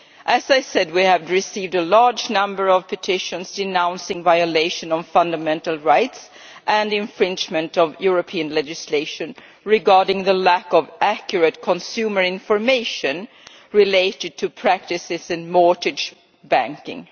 As I said, we have received a large number of petitions denouncing the violation of fundamental rights and infringement of EU legislation in connection with the lack of accurate consumer information related to practices in mortgage banking.